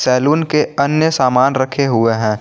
Salon के अन्य सामान रखे हुए हैं।